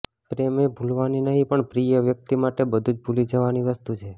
પ્રેમ એ ભૂલવાની નહીં પણ પ્રિય વ્યક્તિ માટે બધું જ ભૂલી જવાની વસ્તુ છે